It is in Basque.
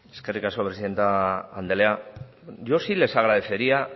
eskerrik asko presidente anderea yo sí les agradecería